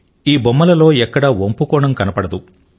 ఈ బొమ్మలలో ఎక్కడా వంపు కోణం కనబడదు